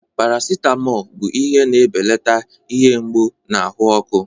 Paracetamol bụ ihe na-ebelata ihe mgbu na ahụ ọkụ.